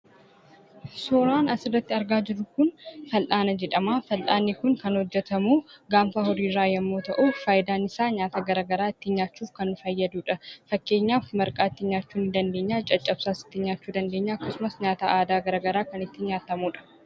Suuraan asirratti argaa jirru kun fal'ana jedhama. fal'anni kun kan hojjetamu gaaffa horii irra yemmu ta'u, faayidan isa nyaata garaagaraa ittin nyaachuuf kan fayyadudha. Fakkeenyaf, marqaa ittin nyaachuuf in dandeenya jechudha. caccabsaas ittin nyaachuu in dandeenya jechuudha. akkasumas, nyaata aadaa garaagaraa ittin nyaatamudha.